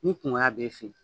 Ni kunkoya bɛ e fɛ yen.